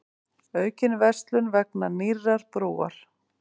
Aukin verslun vegna nýrrar brúar